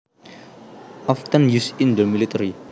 Often used in the military